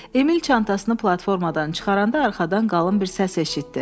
Emil çantasını platformadan çıxaranda arxadan qalın bir səs eşitdi.